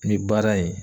Ni baara in